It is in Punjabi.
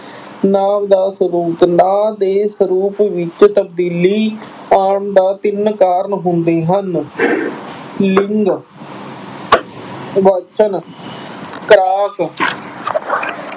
ਨਾਂਵ ਦਾ ਸਰੂਪ- ਨਾਂਵ ਦੇ ਸਰੂਪ ਵਿੱਚ ਤਬਦੀਲੀ ਆਉਣ ਦਾ ਤਿੰਨ ਕਾਰਣ ਹੁੰਦੇ ਹਨ- ਲਿੰਗ, ਵਚਨ, ਕਾਰਕ।